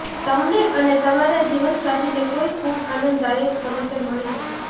તમને અને તમારા જીવનસાથીને કોઈ ખૂબ આનંદદાયક સમાચાર મળી શકે છે